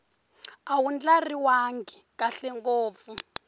a wu ndlariwangi kahle ngopfu